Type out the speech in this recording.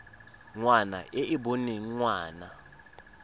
ngwana e e boneng ngwana